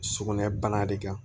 Sugunɛ bana de kan